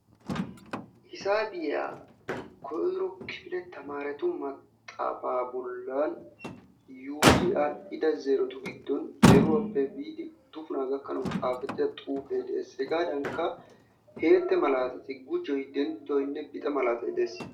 Hisaabiya koyiro kifile tamaaretu maxxaafaa bollan yuuyi aadhdhida zeerotu giddon zeeruwappe biidi uddupunaa gakkanaw xaafettida xuufe de'ees. Hegaadankka heette malaatati gujoy, denttoynne bixe malatay de'ees